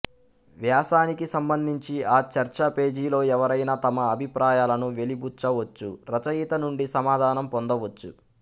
వ్యాసానికి సంబంధించి ఆ చర్చాపేజీలో ఎవరైనా తమ అభిప్రాయాలను వెలిబుచ్చవచ్చు రచయిత నుండి సమాధానం పొందవచ్చు